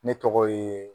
Ne tɔgɔ ye